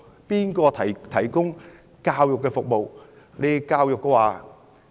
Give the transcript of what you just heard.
誰來提供教育服務？